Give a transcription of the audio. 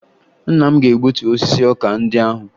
Nna m ga-egutu osisi ọka ndị ahụ